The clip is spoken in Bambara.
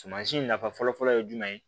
Sumansi nafa fɔlɔfɔlɔ ye jumɛn ye